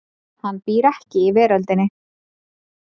Hann býr ekki í veröldinni.